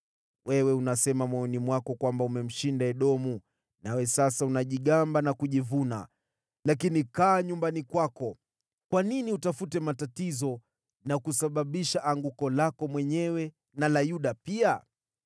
Wewe unasema moyoni mwako kwamba umemshinda Edomu, nawe sasa unajigamba na kujivuna. Lakini kaa nyumbani kwako! Kwa nini utafute matatizo na kujiletea anguko lako mwenyewe na la Yuda pia?”